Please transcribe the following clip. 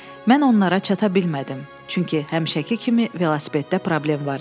Mən onlara çata bilmədim, çünki həmişəki kimi velosipeddə problem var idi.